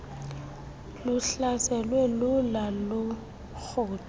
luhlaselwe lula lurhudo